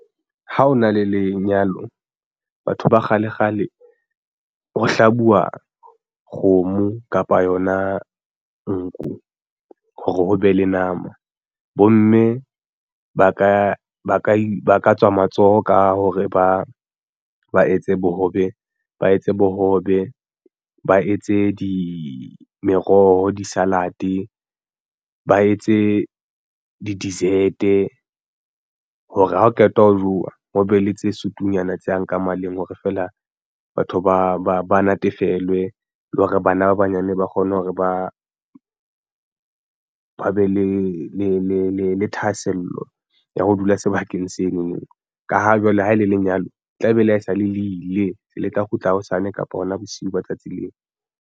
Ha o na le lenyalo batho ba kgalekgale ho hlabuwa kgomo kapa yona nku hore o be le nama. Bomme ba ka tswa matsoho ka hore ba ba etse bohobe ba etse di meroho di-salad ba etse di-desert e hore ha o qeta ho jowa ho be le tse sutunyana tse yang ka maleng le hore feela batho ba natefelwe le hore bana ba banyane ba kgone hore ba be le thahasello ya ho dula sebakeng seno no ka ha jwale ha e le lenyalo tlabe ele hae sale le ile le tla kgutla hosane kapa hona bosiu ba tsatsi leo.